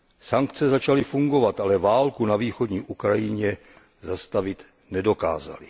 Sankce začaly fungovat, ale válku na východní Ukrajině zastavit nedokázaly.